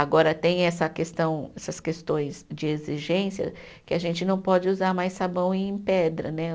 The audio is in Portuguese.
Agora tem essa questão, essas questões de exigência que a gente não pode usar mais sabão em pedra, né?